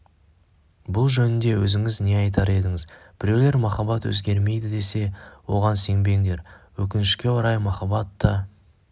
бұл жөнінде өзіңіз не айтар едіңіз біреулер махаббат өзгермейді десе оған сенбеңдер өкінішке орай махаббат та